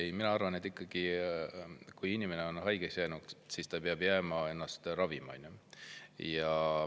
Ei, mina arvan, et kui inimene on haigeks jäänud, siis ta peab jääma ennast ravima.